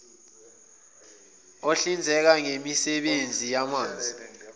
ohlinzeka ngemisebenzi yamanzi